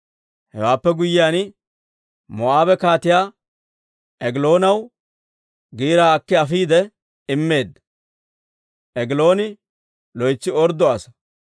Hewaappe guyyiyaan, Moo'aabe Kaatiyaa Egiloonaw giiraa akki afiide immeedda. Egilooni loytsi orddo asaa.